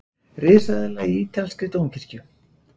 Risaeðla í ítalskri dómkirkju